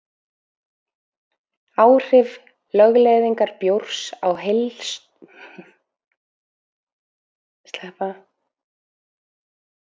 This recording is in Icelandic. Áhrif lögleiðingar bjórs á heildarsölu áfengis og neyslumynstur